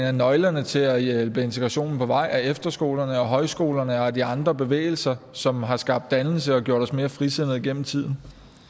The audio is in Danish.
af nøglerne til at hjælpe integrationen på vej er efterskolerne og højskolerne og de andre bevægelser som har skabt dannelse og gjort os mere frisindede gennem tiden